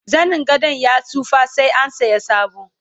zanin gadon ya tsufa sai an saya sabo